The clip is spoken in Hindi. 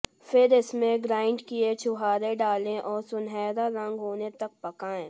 फिर इसमें ग्राइंड किए छुहारे डालें और सुनहरा रंग होने तक पकाएं